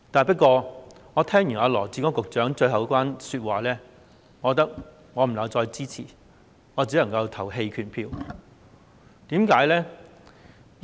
不過，我聽完羅致光局長最後一番說話後，覺得不能夠支持，只能投棄權票。